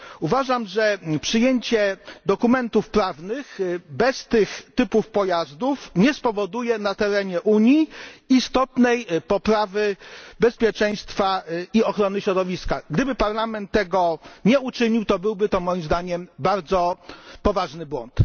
Uważam, że przyjęcie dokumentów prawnych bez tych typów pojazdów nie spowoduje na terenie Unii istotnej poprawy bezpieczeństwa i ochrony środowiska. Gdyby Parlament tego nie uczynił, to byłby to moim zdaniem bardzo poważny błąd.